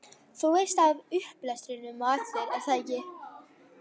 Þú veist af upplestrinum á eftir, er það ekki?